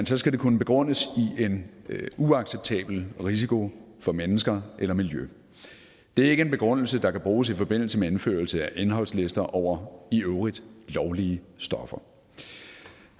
så skal det kunne begrundes i en uacceptabel risiko for mennesker eller miljø det er ikke en begrundelse der kan bruges i forbindelse med indførelse af indholdslister over i øvrigt lovlige stoffer